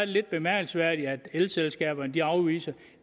lidt bemærkelsesværdigt at elselskaberne afviser